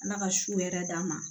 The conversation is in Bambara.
Ala ka su hɛrɛ d'a ma